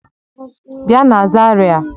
Bia na Zaria!